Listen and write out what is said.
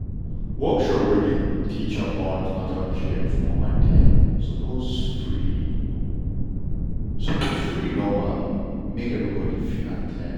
workshop wey dey teach about an ten atal care for mama dem suppose free suppose free normally make everybody fit at ten d.